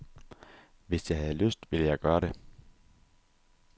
Hvis jeg havde lyst, ville jeg gøre det.